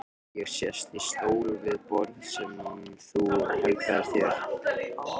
Ég sest í stól við borð sem þú helgaðir þér.